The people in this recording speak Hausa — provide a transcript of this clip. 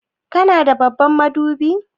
Kana da babban madubi?